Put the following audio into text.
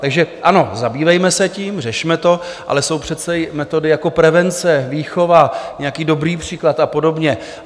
Takže ano, zabývejme se tím, řešme to, ale jsou přece i metody jako prevence, výchova, nějaký dobrý příklad a podobně.